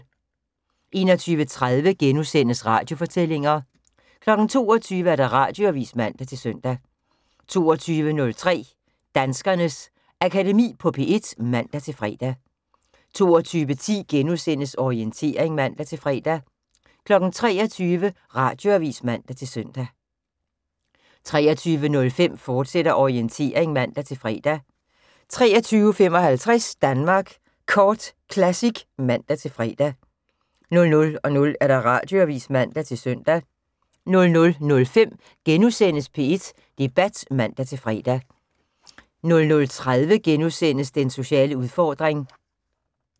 21:30: Radiofortællinger * 22:00: Radioavis (man-søn) 22:03: Danskernes Akademi på P1 (man-fre) 22:10: Orientering *(man-fre) 23:00: Radioavis (man-søn) 23:05: Orientering, fortsat (man-fre) 23:55: Danmark Kort Classic (man-fre) 00:00: Radioavis (man-søn) 00:05: P1 Debat *(man-fre) 00:30: Den sociale udfordring *